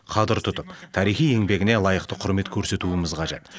қадір тұтып тарихи еңбегіне лайықты құрмет көрсетуіміз қажет